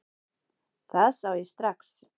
Það sá ég strax.